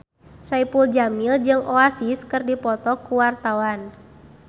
Saipul Jamil jeung Oasis keur dipoto ku wartawan